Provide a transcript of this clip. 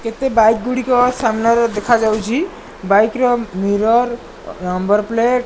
କେତେ ବାଇକ୍ ଗୁଡ଼ିକ ସାମ୍ନାରେ ଦେଖାଯାଉଛି ବାଇକ୍ ର ମିରର୍ ନମ୍ୱର୍ ପ୍ଲେଟ୍ --